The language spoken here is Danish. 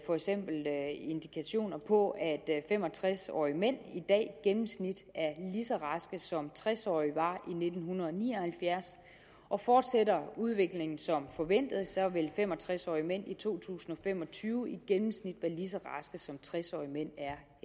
for eksempel er indikationer på at fem og tres årige mænd i dag i gennemsnit er lige så raske som tres årige var i nitten ni og halvfjerds og fortsætter udviklingen som forventet vil fem og tres årige mænd i to tusind og fem og tyve i gennemsnit være lige så raske som tres årige mænd